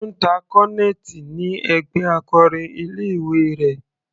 Ó ń ta cornet ni ẹgbẹ́ akọrin ilé ìwé rẹ̀.